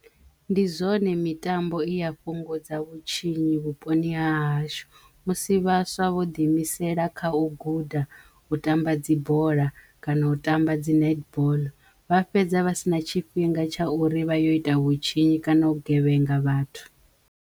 Ndi zwone mitambo i ya fhungudza vhutshinyi vhuponi ha hashu musi vhaswa vho ḓiimisela kha u guda u tamba dzi bola kana u tamba dzi netball vha fhedza vha sina tshifhinga tsha uri vha yo ita vhutshinyi kana u gevhenga vhathu.